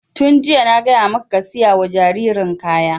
Tun jiya na gaya maka ka saya wa jaririn kaya!